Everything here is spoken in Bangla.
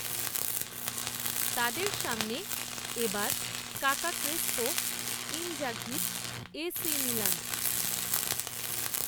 তাদের সামনে এ বার কাকা ক্রেসপো, ইনজাঘির, এ সি মিলান